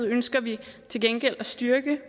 ønsker vi til gengæld at styrke